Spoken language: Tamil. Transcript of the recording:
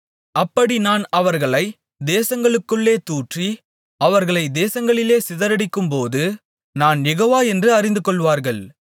அப்படி நான் அவர்களை தேசங்களுக்குள்ளே தூற்றி அவர்களை தேசங்களிலே சிதறடிக்கும்போது நான் யெகோவா என்று அறிந்துகொள்வார்கள்